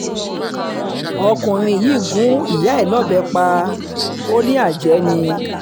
ọkùnrin yìí gún ìyá um ẹ̀ lọ́bẹ̀ pa lọ́bẹ̀ pa ọ́ lájẹ̀ẹ́ ni